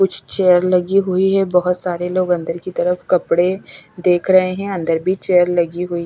कुछ चेयर लगी हुई है बहुत सारे लोग अंदर की तरफ कपड़े देख रहे हैं अंदर भी चेयर लगी हुई--